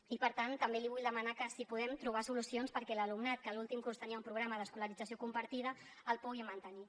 i per tant també li vull demanar si podem trobar solucions perquè l’alumnat que en l’últim curs tenia un programa d’escolarització compartida el pugui mantenir